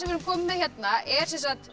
erum komin með hérna er